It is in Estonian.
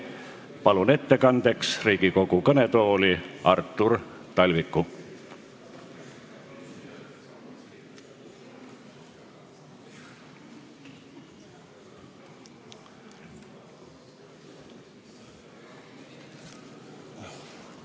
Palun ettekandeks Riigikogu kõnetooli Artur Talviku!